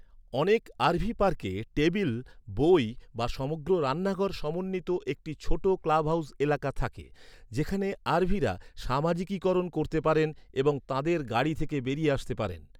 অনেক আরভি পার্কে টেবিল, বই বা সমগ্র রান্নাঘর সমন্বিত একটি ছোট ক্লাবহাউস এলাকা থাকে, যেখানে আরভিরা সামাজিকীকরণ করতে পারেন এবং তাঁদের গাড়ি থেকে বেরিয়ে আসতে পারেন।